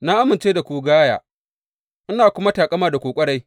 Na amince da ku gaya, ina kuma taƙama da ku ƙwarai.